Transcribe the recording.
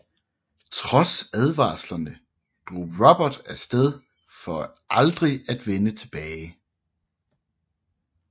Trods advarslerne drog Robert af sted for aldrig at vende tilbage